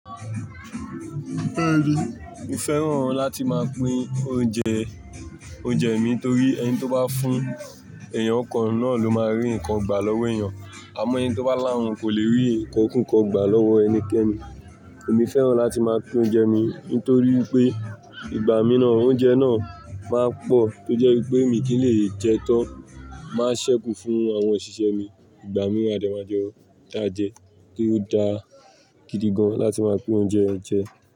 Bẹ́ẹ̀ni, mo fẹ́ràn láti máa pín oúnjẹ, oúnjẹ mi torí ẹni tó bá fún èèyàn n kàn náà ló máa rí nǹkan gbà lọ́wọ́ èèyàn. Àmọ́ ẹni tó bá láhún kò lè rí nǹkan kunkan gbà lọ́wọ́ ẹnikẹ́ni. Èmi fẹ́ràn láti máa pín oúnjẹ mi nítorí pé ìgbà mìíràn oúnjẹ náà máa pọ̀ tó jẹ́ wípé mi kì í lè jẹ́ ẹ tán. Máa ṣẹ́kù fún àwọn òṣìṣẹ́ mi ìgbà mìíràn a de ma jẹun dáa jẹ, kí ó dá a gidi gan láti máa pín oúnjẹ jẹ.